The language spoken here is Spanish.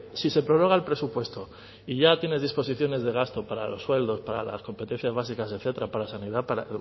si se prorroga el presupuesto y ya tienes disposiciones de gasto para los sueldos para las competencias básicas etcétera para sanidad para